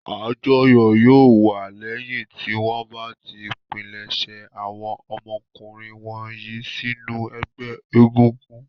Àjọyọ̀ yóò wà lẹ́yìn tí wọ́n bá ti pilẹ̀sẹ̀ àwọn ọmọkùnrin wọ̀nyí sínú ẹgbẹ́ egúngún.